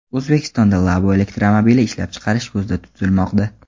O‘zbekistonda Labo elektromobili ishlab chiqarish ko‘zda tutilmoqda.